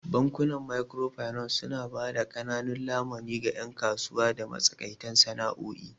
Bankunan Microfinance suna ba da ƙananan lamuni ga 'yan kasuwa da matsakaitan sana'o'i.